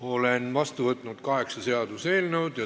Olen vastu võtnud kaheksa eelnõu.